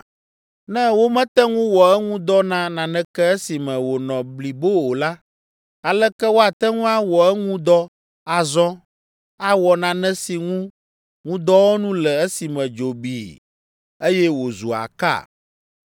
Ne womete ŋu wɔ eŋu dɔ na naneke esime wònɔ blibo o la, aleke woate ŋu awɔ eŋu dɔ azɔ awɔ nane si ŋu ŋudɔwɔnu le esime dzo bii, eye wòzu aka?